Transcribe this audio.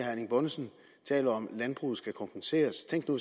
erling bonnesen taler om at landbruget skal kompenseres tænk nu